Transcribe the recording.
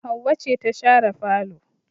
Hauwau ce ta share falo